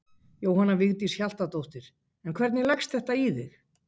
Jóhanna Vigdís Hjaltadóttir: En hvernig leggst þetta í þig?